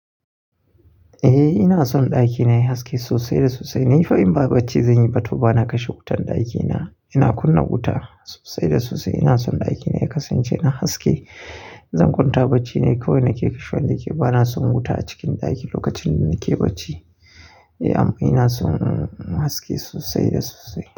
Eh ina son ɗakina yayi haske sosai da sosai. Nifa in ba barci zan yi ba to bana kashe wutan ɗakina. Ina kunna wuta sosai da sosai. Ina son ɗakina ya kasance na haske. In zan kwanta barci ne yi kawai nake kashewa da yake bana son wuta a cikin ɗaki lokacin da nake barci. Eh amma ina son haske sosai da sosai.